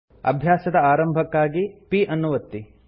ಅಭ್ಯಾಸದ ಆರಂಭಕ್ಕಾಗಿ p ಅನ್ನು ಒತ್ತಿ